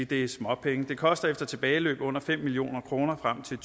det er småpenge det koster efter tilbageløb under fem million kroner frem til